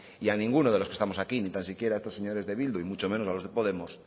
y a ninguno de los que estamos aquí ni tan siquiera a estos señores de bildu y mucho menos a los de podemos